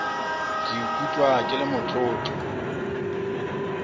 ke ikutlwa ke le motlotlo